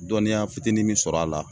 Dɔniya fitinin min sɔr'a la